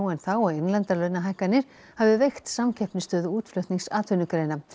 en þá og innlendar launahækkanir hafi veikt samkeppnisstöðu útflutningsatvinnugreina